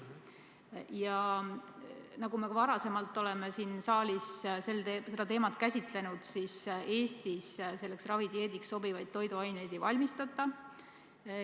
Nagu me varemgi siin saalis seda teemat oleme käsitlenud, siis olgu öeldud, et Eestis selleks ravidieediks sobivaid toiduaineid ei valmistata.